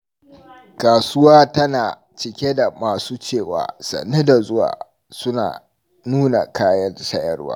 Kasuwa tana cike da masu cewa "Sannu da zuwa" suna nuna kayan sayarwa.